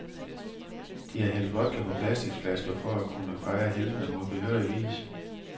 De har hældt vodka på plasticflasker for at kunne fejre heltene på behørig vis.